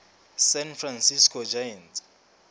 san francisco giants